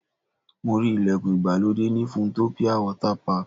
Mo rí ìlẹ̀kùn ìgbàlódé ní Funtopia Water Park.